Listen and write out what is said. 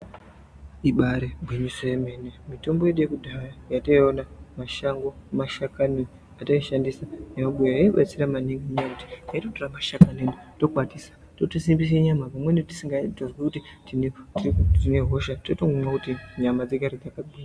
Ibaari gwinyiso remene-mene, mitombo yedu yekudhaya yataiona mumashango, mashakani ataishandisa yemumabuya yaibatsira maningi ngenyaya yekuti, taitora mashakani tokwatisa totosimbisa nyama, pamweni tisikatoziyi kuti tine hosha, totomwa kuti nyama dzigare dzakagwinya.